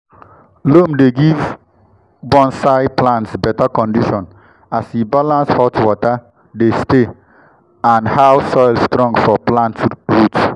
loam dey give bonsai plants better condition as e balance how water dey stay and how soil strong for plant root.